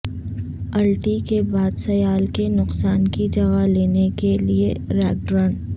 الٹی کے بعد سیال کے نقصان کی جگہ لینے کے لئے ریگڈرن